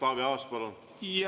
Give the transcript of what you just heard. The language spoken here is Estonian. Taavi Aas, palun!